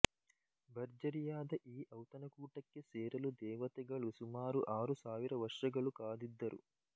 ಭರ್ಜರಿಯಾದ ಈ ಔತಣಕೂಟಕ್ಕೆ ಸೇರಲು ದೇವತೆಗಳು ಸುಮಾರು ಆರು ಸಾವಿರ ವರ್ಷಗಳು ಕಾದಿದ್ದರು